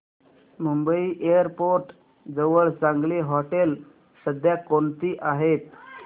Mumbai airport जवळ चांगली हॉटेलं सध्या कोणती आहेत